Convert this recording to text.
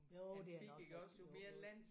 Jo det har nok jo jo